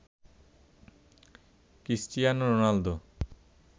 Cristiano Ronaldo